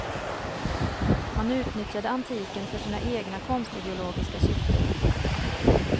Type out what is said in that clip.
Man utnyttjade antiken för sina egna, konstideologiska syften.